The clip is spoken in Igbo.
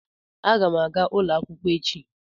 Agam aga n'ulo akwukwo echi.